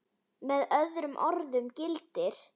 Með öðrum orðum gildir